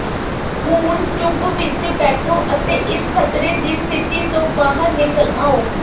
ਹੁਣ ਚੁੱਪ ਵਿਚ ਬੈਠੋ ਅਤੇ ਇਸ ਖਤਰੇ ਦੀ ਸਥਿਤੀ ਤੋਂ ਬਾਹਰ ਨਿਕਲ ਆਓ